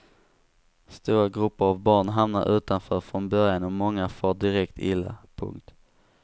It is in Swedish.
Stora grupper av barn hamnar utanför från början och många far direkt illa. punkt